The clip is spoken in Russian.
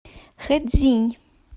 хэцзинь